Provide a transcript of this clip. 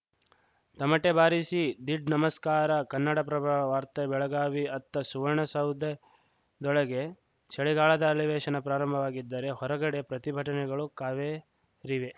ತಮಟೆ ಬಾರಿಸಿ ದೀಡ್‌ ನಮಸ್ಕಾರ ಕನ್ನಡಪ್ರಭ ವಾರ್ತೆ ಬೆಳಗಾವಿ ಅತ್ತ ಸುವರ್ಣಸೌಧದೊಳಗೆ ಚಳಿಗಾಲದ ಅಲಿವೇಶನ ಪ್ರಾರಂಭವಾಗಿದ್ದರೆ ಹೊರಗಡೆ ಪ್ರತಿಭಟನೆಗಳು ಕಾವೇರಿವೆ